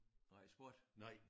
Nej sport